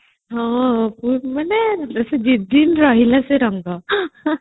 ମାନେ ଦିନିନ ରହିଲା ସେ ରଙ୍ଗ